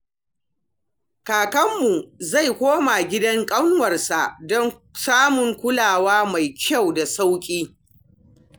Kakanmu zai koma gidan ƙanwarsa don samun kulawa mai kyau da sauƙi.